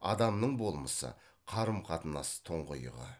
адамның болмысы қарым қатынас тұңғиығы